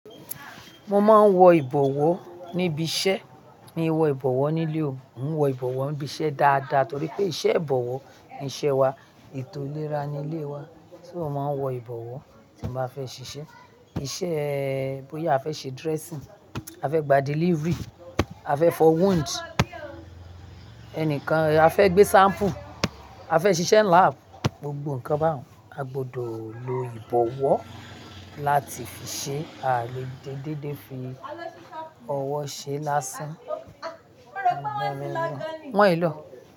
Mo máa ń wọ ìbọ̀wọ́ níbi iṣẹ́, mi wọ ìbọ̀wọ́ nílé o, mò ń wọ ìbọ̀wọ́ níbi iṣẹ́ dáadáa torí pé iṣẹ́ ìbọ̀wọ́ ni iṣẹ́ wa, ètò ìlera ni ilé wa. Só ma wọ ìbọ̀wọ́ tí mo bá fẹ́ ṣiṣẹ́. Iṣẹ́ bóyá a fẹ́ ṣe dressing, a fẹ́ gba delivery, a fẹ́ fọ wound, ẹnìkan-- a fẹ́ gbé sample, a fẹ́ ṣiṣẹ́ lab, gbogbo nǹkan bẹ́ẹ̀ àgbodo ló ìbọ̀wọ́ láti fi ṣe. A lè dé dédé fi ọwọ́ ṣe lásán. Wọ̀ ì lò ó.